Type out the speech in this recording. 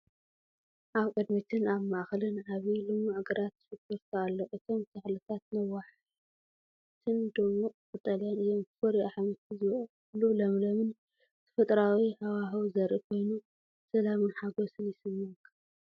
ኣብ ቅድሚትን ኣብ ማእከልን ዓቢ ልሙዕ ግራት ሽጉርቲ ኣሎ። እቶም ተኽልታት ነዋሕትን ድሙቕ ቀጠልያን እዮም። ፍሩይ ኣሕምልቲ ዝበቁለሉ ለምለምን ተፈጥሮኣዊን ሃዋህው ዘርኢ ኮይኑ፡ ሰላምን ሓጎስን ይስምዓካ፡፡